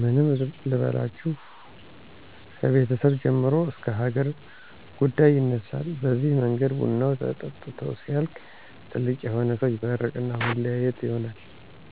ምን ልበላችሁ ከቤተሰብ ጀምሮ እስከ ሀገር ጉዳይ ይነሳል በዚህ መንገድ ቡናው ተጠጥቶ ሲያልቅ ትልቅ የሆነ ሰው ይመርቅና መለያየት ይሆናል።